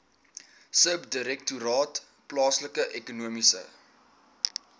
subdirektoraat plaaslike ekonomiese